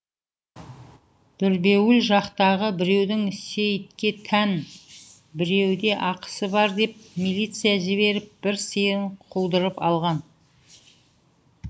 дүрбеуіл жақтағы біреудің сейітке тән біреуде ақысы бар деп милиция жіберіп бір сиырын қудырып алған